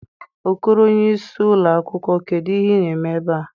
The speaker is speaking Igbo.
Okoro onye isi ụlọ akwụkwọ, kedu ihe ị na-eme ebe a?